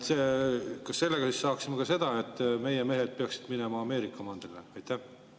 Kas me selle, et meie mehed peaksid minema Ameerika mandrile?